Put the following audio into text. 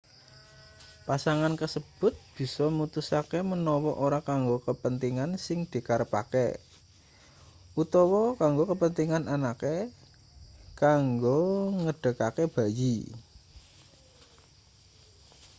pasangan kasebut bisa mutusake manawa ora kanggo kapentingan sing dikarepake utawa kanggo kapentingan anake kanggo nggedhekake bayi